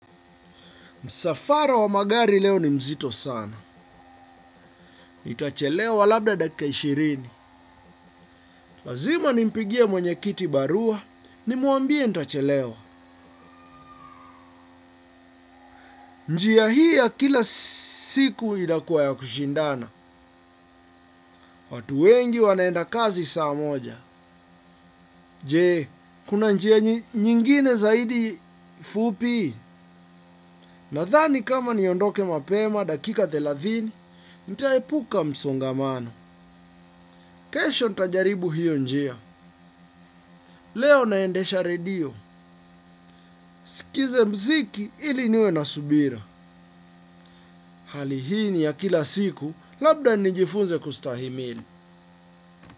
Msafara wa magari leo ni mzito sana. Nitachelewa labda dakika ishirini. Lazima nimpigie mwenye kiti barua, nimwambie nitachelewa. Njia hii ya kila siku inakuwa ya kushindana. Watu wengi wanaenda kazi saa moja. Je, kuna njia nyingine zaidi fupi. Nadhani kama niondoke mapema dakika thelathini, nitaepuka msongamano. Kesho nitajaribu hiyo njia. Leo naendesha redio. Nisikize mziki ili niwe na subira. Hali hii ni ya kila siku labda nijifunze kustahimili.